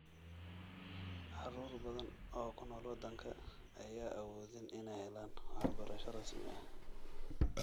Carruur badan oo ku nool wadanka ayaan awoodin inay helaan waxbarasho rasmi ah.